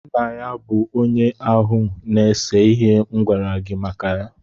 Nna ya bụ onye áhù na-èse ihe m gwara gị maka ya